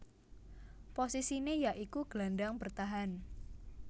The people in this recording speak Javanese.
Posisiné ya iku gelandang bertahan